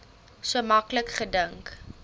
so maklik gedink